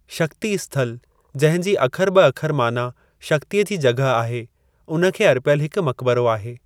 शक्ति स्थलु जंहिं जी अखर-ब-अखर माना शक्तिअ जी जॻह आहे, उन खे अर्पियल हिक मकिबरो आहे।